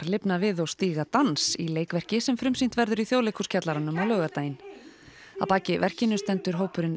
lifna við og stíga dans í leikverki sem frumsýnt verður í Þjóðleikhússkjallaranum á laugardaginn að baki verkinu stendur hópurinn